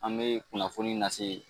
An bɛ kunnafoni nase.